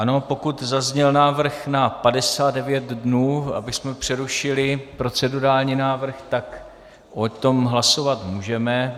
Ano, pokud zazněl návrh na 59 dnů, abychom přerušili, procedurální návrh, tak o tom hlasovat můžeme.